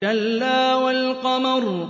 كَلَّا وَالْقَمَرِ